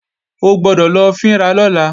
O gbọ́dọ̀ lọ fín ra lọ́la!